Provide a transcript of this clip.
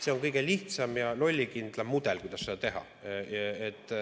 See on kõige lihtsam ja lollikindlam mudel, kuidas seda teha.